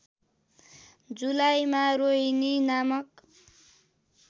जुलाईमा रोहिणी नामक